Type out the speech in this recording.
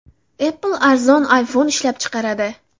Apple arzon iPhone ishlab chiqaradi.